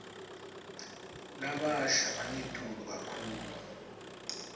labasha angetulu kakhulu